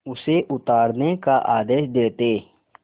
उसे उतारने का आदेश देते